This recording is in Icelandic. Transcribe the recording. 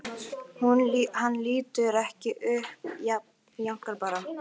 Hann lítur ekki upp, jánkar bara.